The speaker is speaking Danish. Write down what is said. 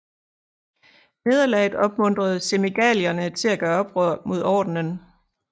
Nederlaget opmuntrede Semigalierne til at gøre oprør mod ordenen